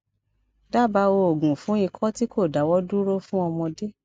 daba oogun fún iko ti ko dawo duro fun ọmọdé